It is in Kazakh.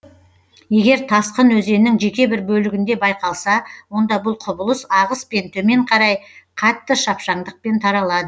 егер тасқын өзеннің жеке бір бөлігінде байқалса онда бұл құбылыс ағыспен төмен қарай қатты шапшаңдықпен таралады